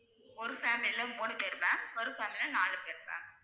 ஒரு family ல மூணு பேரு ma'am ஒரு family நாலு பேரு ma'am